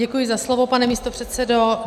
Děkuji za slovo, pane místopředsedo.